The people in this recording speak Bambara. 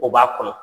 O b'a kɔnɔ